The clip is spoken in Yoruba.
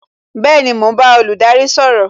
Bẹẹni, mo ń bá olùdarí sọ̀rọ̀